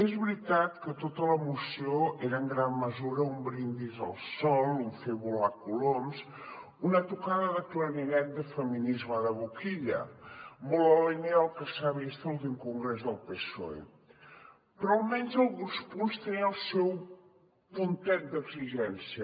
és veritat que tota la moció era en gran mesura un brindis al sol un fer volar coloms una tocada de clarinet de feminisme de boquilla molt en la línia del que s’ha vist a l’últim congrés del psoe però almenys alguns punts tenien el seu puntet d’exigència